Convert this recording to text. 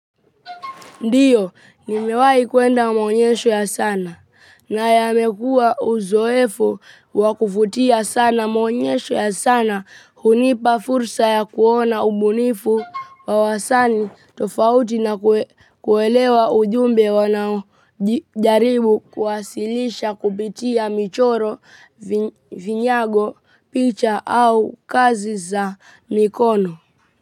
Ndiyo, nimewahi kuenda mwonyesho ya sana, na yamekua uzoefu wa kuvutia sana mwonyesho ya sana hunipa fursa ya kuona ubunifu wa wasani tofauti na kuelewa ujumbe wanaojaribu kuwasilisha kupitia michoro, vinyago, picha au kazi za mikono.